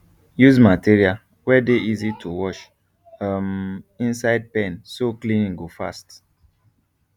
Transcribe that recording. use material wey dey easy to wash um inside pen so cleaning go fast